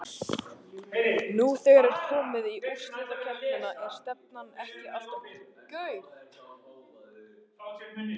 Nú þegar er komið í úrslitakeppnina er stefnan ekki alltaf sett upp um deild?